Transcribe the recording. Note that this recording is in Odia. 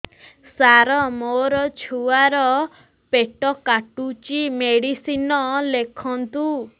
ସାର ମୋର ଛୁଆ ର ପେଟ କାଟୁଚି ମେଡିସିନ ଲେଖନ୍ତୁ